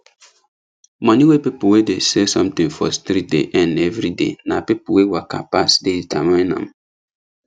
money wey people wey dey sell something for street dey earn everyday na people wey waka pass dey determine am